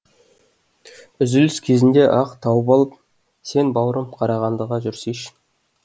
үзіліс кезінде ақ тауып алып сен бауырым қарағандыға жүрсейші